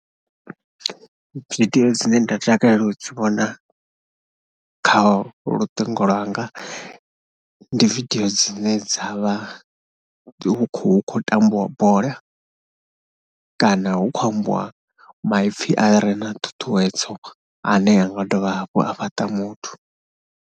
Vidio dzine nda takalela u dzi vhona kha lutingo lwanga ndi vidio dzine dza vha hu khou hu khou tambiwa bola kana hu khou ambiwa maipfhi ane a vha thuthuwedzo ane a nga dovha hafhu a fhaṱa muthu.